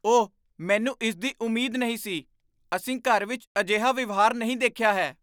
ਓਹ, ਮੈਨੂੰ ਇਸ ਦੀ ਉਮੀਦ ਨਹੀਂ ਸੀ। ਅਸੀਂ ਘਰ ਵਿੱਚ ਅਜਿਹਾ ਵਿਵਹਾਰ ਨਹੀਂ ਦੇਖਿਆ ਹੈ।